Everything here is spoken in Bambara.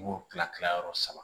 Mugu kilayɔrɔ saba